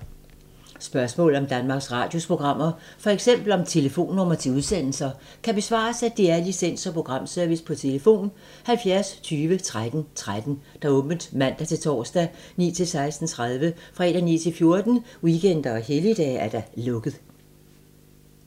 Spørgsmål om Danmarks Radios programmer, f.eks. om telefonnumre til udsendelser, kan besvares af DR Licens- og Programservice: tlf. 70 20 13 13, åbent mandag-torsdag 9.00-16.30, fredag 9.00-14.00, weekender og helligdage: lukket.